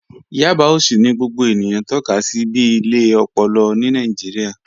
Yábà òṣì ni gbogbo ènìyàn tọka sí bí ilẹ̀ òpòlò ni Nàìjíríà